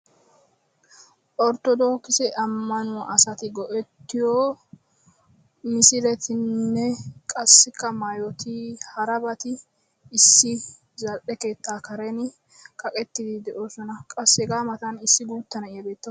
Orttodokisse Amannuwa misiletinne qassika maayyoti harabati issi zal"e keettaa Karen kaqqeti qassi hega matan issi guutta na'iyaa beetaw